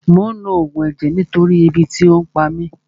Mò ń lo Ògùn ẹ̀jẹ̀ nítorí ebi tí ò pa mí